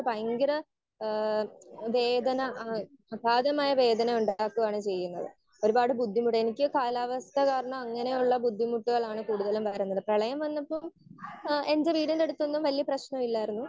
Speaker 1 ഭയങ്കര ഏഹ് വേദന ഏഹ് അകാതമായ വേദന ഉണ്ടാക്കുകയാണ് ചെയ്യുന്നത്. ഒരുപാട് ബുദ്ധിമുട്ട് എനിക്ക് കാലാവസ്ഥാ കാരണം അങ്ങനെ ഉള്ള ബുദ്ധിമുട്ടുകളാണ് കൂടുതലും വരുന്നത്. പ്രളയം വന്നപ്പോ ഏഹ് ഇപ്പൊ എന്റെ വീടിന്റെ അടുത്തൊന്നും വലിയ പ്രശ്നമില്ലായിരുന്നു.